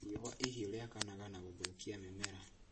Riũa ihiũ rĩakanaga na gũthũkia mĩmera